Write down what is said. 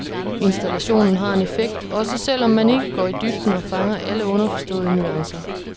Installationen har en effekt, også selv om man ikke går i dybden og fanger alle underforståede nuancer.